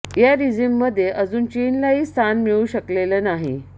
या रिजीममध्ये अजून चीनलाही स्थान मिळू शकलेलं नाही